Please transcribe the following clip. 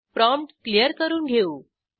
prompt clear करून घेऊ